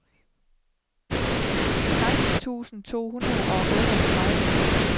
seksten tusind to hundrede og otteogtredive